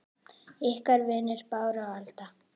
Ykkar vinir Bára og Alda.